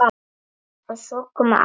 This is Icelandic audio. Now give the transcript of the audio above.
Og svo koma áramót.